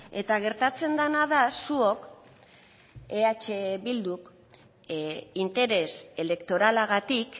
eta gertatzen dena da zuok eh bilduk interes elektoralagatik